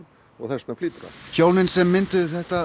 og þess vegna flýtur hann hjónin sem mynduðu þetta